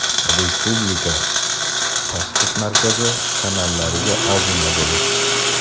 Respublika tashxis markazi kanallariga obuna bo‘lish:.